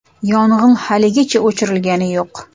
Yong‘in hozirgacha o‘chirilgani yo‘q.